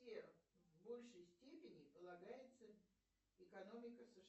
в большей степени полагается экономика сша